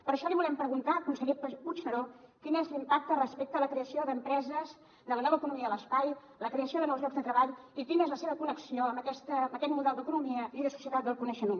per això li volem preguntar conseller puigneró quin és l’impacte respecte a la creació d’empreses de la nova economia de l’espai la creació de nous llocs de treball i quina és la seva connexió amb aquest model d’economia i de societat del coneixement